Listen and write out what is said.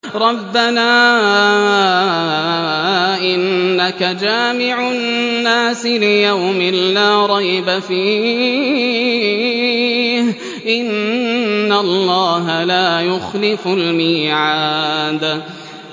رَبَّنَا إِنَّكَ جَامِعُ النَّاسِ لِيَوْمٍ لَّا رَيْبَ فِيهِ ۚ إِنَّ اللَّهَ لَا يُخْلِفُ الْمِيعَادَ